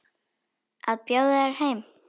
Að bjóða þér heim.